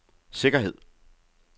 sikkerhed